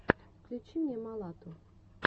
включи мне малату